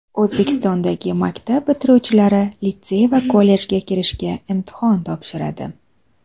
O‘zbekistondagi maktab bitiruvchilari litsey va kollejga kirishda imtihon topshiradi.